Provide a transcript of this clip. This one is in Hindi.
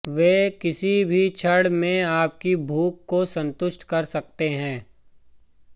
वे किसी भी क्षण में आपकी भूख को संतुष्ट कर सकते हैं